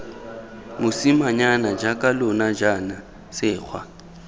mosimanyana jaaka lona jaana sekgwa